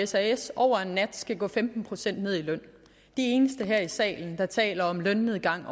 sas over en nat skal gå femten procent ned i løn de eneste her i salen der taler om en lønnedgang